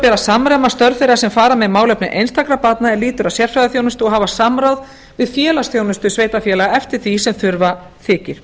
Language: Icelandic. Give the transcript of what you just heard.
að samræma störf þeirra sem fara með málefni einstakra barna er lýtur að sérfræðiþjónustu og hafa samráð við félagsþjónustu sveitarfélaga eftir því sem þurfa þykir